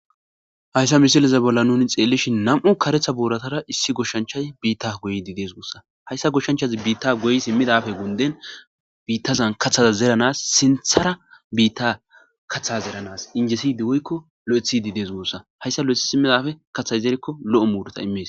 Hayssa misileza bolla nuunii xellishin nam'u kareththa booraza issi gooshshanchchay biitta gooyiddi dees guussa hayssa gooshshanchchazii biitta gooyii siimidappe gunden kaththaz zeeranas sinththara biitta kaththa zeeranas injjesidii woykko lo'oeththidii dees guussa hayssa lo'eththi siimidappe kaththay zeerikko lo'o muuruta iimmes